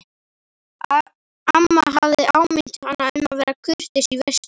Amma hafði áminnt hana um að vera kurteis í veislunni.